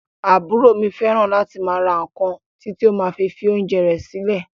Àbúrò mi fẹràn láti máa ra nkán titi o ma fi oúnjẹ rẹ silẹ.